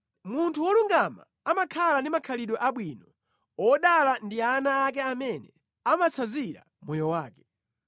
Munthu wolungama amakhala ndi makhalidwe abwino; odala ndi ana ake amene amatsanzira moyo wake.